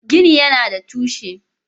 Gini Yana buƙatar windo.